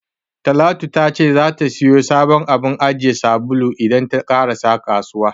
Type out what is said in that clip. Talatu ta ce zata siyo sabon abun ajiye sabulu idan ta ƙarasa kasuwa.